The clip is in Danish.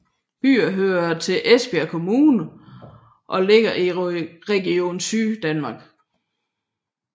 Byen hører til Esbjerg Kommune og ligger i Region Syddanmark